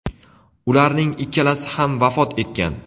ularning ikkalasi ham vafot etgan.